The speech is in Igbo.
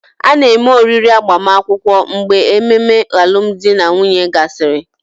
A na-eme oriri agbamakwụkwọ mgbe ememe alụmdi na nwunye gasịrị